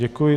Děkuji.